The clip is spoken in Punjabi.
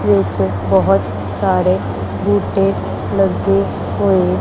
ਵਿੱਚ ਬਹੁਤ ਸਾਰੇ ਬੂਟੇ ਲੱਗੇ ਹੋਏ--